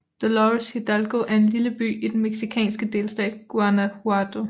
Dolores Hidalgo er en lille by i den mexicanske delstat Guanajuato